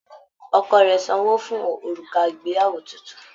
Ọkọ rẹ sanwó fún òrùka ìgbéyàwó títún.